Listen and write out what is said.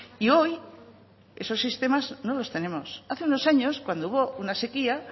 y hoy esos sistemas no los tenemos hace unos años cuando hubo una sequía